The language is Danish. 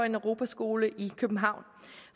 en europaskole i københavn